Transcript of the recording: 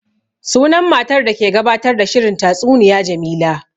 Sunan matar da ke gabatar da shirin tastuniya Jamila